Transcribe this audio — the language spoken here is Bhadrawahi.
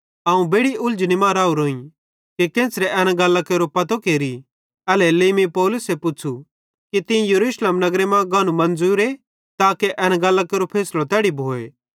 अवं बेड़ि उलझनी मां राहोरोइं कि केन्च़रे एन गल्लां केरो पतो केरि एल्हेरेलेइ मीं पौलुसे पुच़्छ़ू कि तीं यरूशलेम नगरे मां गानू मन्ज़ुरे ताके एन गल्लां केरो फैसलो तैड़ी भोए